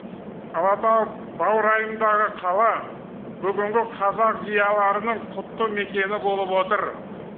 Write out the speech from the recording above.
алатау баурайындағы қала бүгінгі қазақ зиялыларының құтты мекені болып отыр